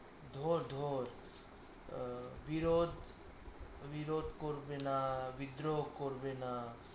ধর ধর আহ বিরোধ বিরোধ করবে না বিদ্রোহ করবে না